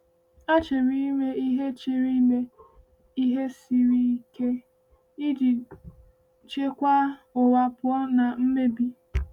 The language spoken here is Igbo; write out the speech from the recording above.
“A chịrị ime ihe chịrị ime ihe siri ike iji chekwaa ụwa pụọ na mmebi.”